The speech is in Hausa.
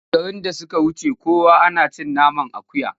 Shekarun da suka wuce kuwa ana cin naman akuya?